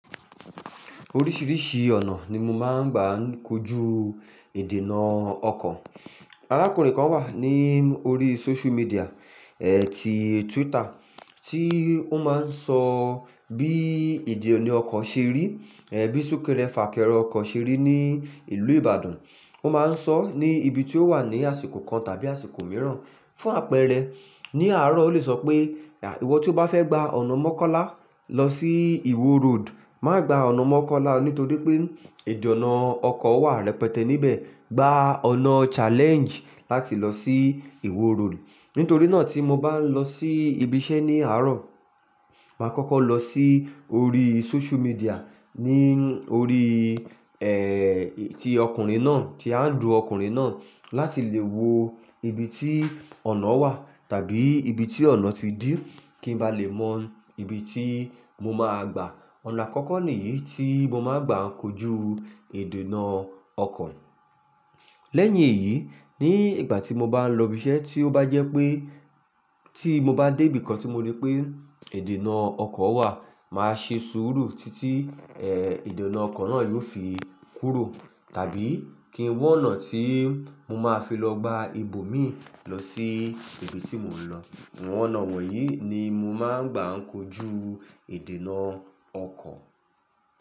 Oríṣiríṣi ọ̀nà ni mo máa ń gbà ń kojú ìdènà ọkọ̀. Arákùnrin kan wà ní orí social media, ẹ́ ti Twitter, tí ó máa ń sọ bí ìdí òní ọkọ̀ ṣe rí, ẹ́ bí súkẹrẹ fàkẹrẹ ọkọ̀ ṣe rí ní ìlú Ìbàdàn. Ó máa ń sọ ní ibi tí ó wà ní àsìkò kan tàbí àsìkò mìíràn. Fún àpẹẹrẹ, ní àárọ̀ ó le sọ pé, "Ìwọ tí o bá fẹ́ gba ọ̀nà Mọ́kọ́lá lọ sí Ìwo Road má gba ọ̀nà Mọ́kọ́lá o nítorí pé ìdì ọ̀nà ọkọ̀ wà rẹpẹtẹ níbẹ̀. Gba ọ̀nà challenge láti lọ sí Ìwo Road." Nítorí náà tí mo bá ń lọ sí ibi iṣẹ́ ní àárọ̀, màá kọ́kọ́ lọ sí orí social media, ní orí, tí ọkùnrin náà, tí handle ọkùnrin náà láti lè wo ibi tí ọ̀nà wà tàbí ibi tí ọ̀nà ti dí kí ń ba lè mọ ibi tí mo máa gbà. Ọ̀nà àkọ́kọ́ nìyí tí mo máa ń gbà ń kojú ìdènà ọkọ̀. Lẹ́yìn èyí, ní ìgbà tí mo bá n lọ ibi iṣẹ́ tí ó bá jẹ́ pé tí mo bá dé ibìkan tí mo rí pé ìdènà ọkọ̀ wà, màá ṣe sùúrù títí ìdènà ọkọ̀ náà yóò fi kúrò tàbí kí n wo ọ̀nà tí mo máa fi lọ gba ibo mi lọ sí ibi tí mò ń lọ. Àwọn ọ̀nà wọ̀nyí ni mo máa ń gbà ń kojú ìdènà ọkọ̀.